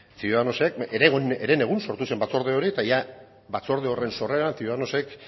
ciudadanosek herenegun sortu zen batzorde hori eta jada batzorde horren sorreran ciudadanosek